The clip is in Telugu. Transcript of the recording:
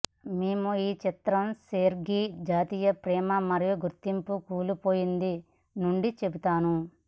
మేము ఈ చిత్రం సెర్గీ జాతీయ ప్రేమ మరియు గుర్తింపు కూలిపోయింది నుండి చెబుతాను